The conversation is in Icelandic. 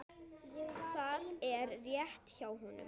Það er rétt hjá honum.